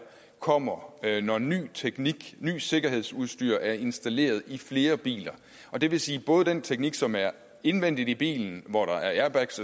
kommer når ny teknik og nyt sikkerhedsudstyr er installeret i flere biler og det vil sige både den teknik som er indvendigt i bilen hvor der er airbags